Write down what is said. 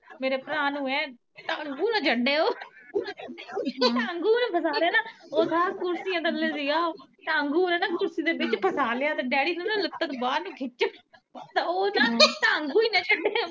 ਮੇਰੇ ਭਰਾ ਨੂੰ ਹੈਂ ਟਾਂਗੂ ਨਾ ਛਡਿਓ ਟਾਂਗੂ ਨੇ ਫਸਾ ਲੈਣਾ ਓ ਕੁਰਸੀਆਂ ਥੱਲੇ ਸੀ ਗਾ ਉਹ ਈ ਕੁਰਸੀ ਦੇ ਵਿਚ ਫਸਾ ਲਿਆ ਡੈਡੀ ਕੇਂਦਾ ਲੱਤਾਂ ਨੂੰ ਬਾਹਰ ਨੂੰ ਖਿੱਚ, ਉਹ ਤਾ ਢਾਂਗੂ ਈ ਨਾ ਛੱਡ